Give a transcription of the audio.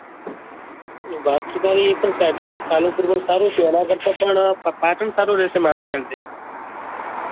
વાત તો તારી એ પણ સાચી જ છે પાલનપુર પણ સારું જ છે એના કરતા પણ પાટણ સારું રહેશે મારા ખ્યાલ થી